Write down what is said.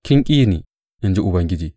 Kin ƙi ni, in ji Ubangiji.